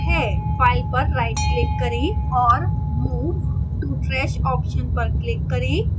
file पर rightclick करें और move to trash option पर click करें